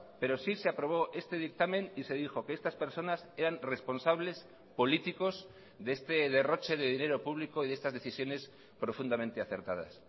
pero sí se aprobó este dictamen y se dijo que estas personas eran responsables políticos de este derroche de dinero público y de estas decisiones profundamente acertadas